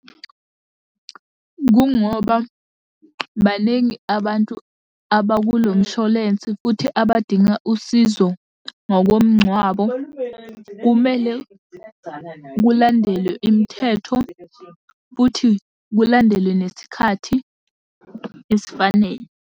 Kungoba baningi abantu abakulo msholensi futhi abadinga usizo ngokomngcwabo. Kumele kulandelwe imithetho futhi kulandelwe nesikhathi esifanele.